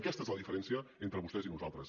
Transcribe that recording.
aquesta és la diferència entre vostès i nosaltres